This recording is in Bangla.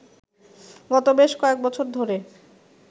গত বেশ কয়েকবছর ধরে